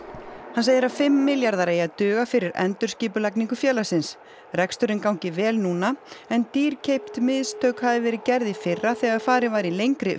hann segir að fimm miljarðar eigi að duga fyrir endurskipulagningu félagsins reksturinn gangi vel núna en dýrkeypt mistök hafi verið gerð í fyrra þegar farið var í lengri